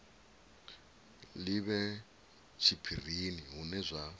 li vhe tshiphirini hune zwa